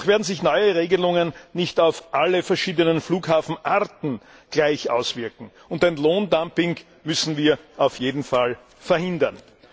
Auch werden sich neue Regelungen nicht auf alle verschiedenen Flughafenarten gleich auswirken, und ein Lohndumping müssen wir auf jeden Fall verhindern.